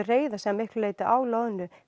reiða sig að miklu leyti á loðnu